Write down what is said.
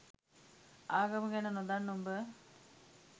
ආගම ගැන නොදන්න උඹ